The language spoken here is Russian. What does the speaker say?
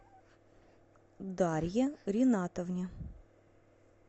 дарье ринатовне